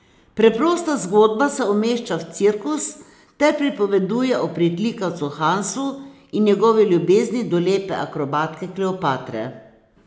Preprosta zgodba se umešča v cirkus ter pripoveduje o pritlikavcu Hansu in njegovi ljubezni do lepe akrobatke Kleopatre.